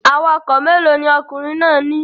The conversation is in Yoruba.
Awakọ̀ mélòó ni ọkùnrin náà ní